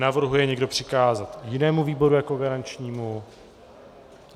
Navrhuje někdo přikázat jinému výboru jako garančnímu?